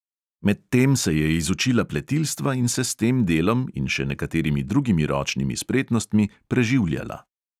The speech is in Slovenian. Medtem se je izučila pletilstva in se s tem delom in še nekaterimi drugimi ročnimi spretnostmi preživljala.